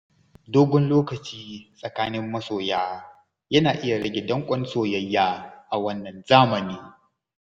Dogon lokaci tsakanin masoya yana iya rage danƙon soyayya a wannan zamani.